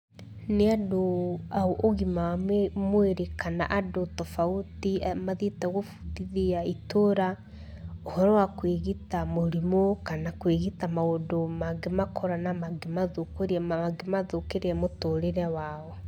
Nĩ andũ a ũgima wa mwĩrĩ kana andũ tofauti mathiĩte gũbundithia itũra ũhoro wa kwĩgita mũrimũ kana kũgwita maũndũ mangĩmakora, na mangĩmathũkĩria mũtũrĩre wao.